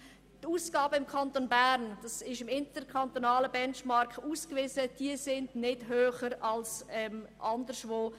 Die Ausgaben sind im Kanton Bern gemäss interkantonalem Benchmark nicht höher als anderswo.